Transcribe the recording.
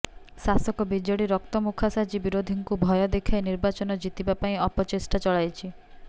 ଶାସକ ବିଜେଡି ରକ୍ତମୁଖା ସାଜି ବିରୋଧୀଙ୍କୁ ଭୟ ଦେଖାଇ ନିର୍ବାଚନ ଜିତିବା ପାଇଁ ଅପଚେଷ୍ଟା ଚଳାଇଛି